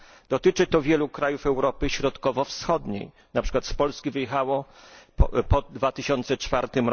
Dotyczy to wielu krajów Europy Środkowo Wschodniej, na przykład z Polski wyjechało po 2004